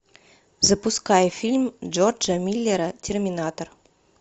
запускай фильм джорджа миллера терминатор